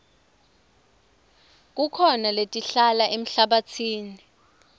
kukhona letiphila emhlabatsini